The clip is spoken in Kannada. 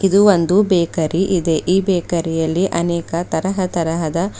ಇದು ಒಂದು ಬೇಕರಿ ಇದೆ ಈ ಬೇಕರಿಯಲ್ಲಿ ಅನೇಕ ತರಹ ತರಹದ--